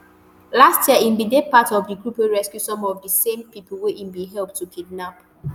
last year e bin dey part of di group wey rescue some of di same pipo wey e bin help to kidnap